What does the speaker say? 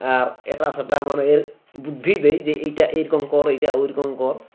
আর এটাসেটা মানের বুদ্ধি দেই যে এটা এরকম কর ওটা ওরকম কর